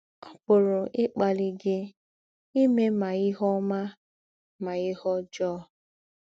Ó pụ̀rù́ íkpàlí gị ímè mà ìhè ọ́má mà ìhè ọ́jọọ.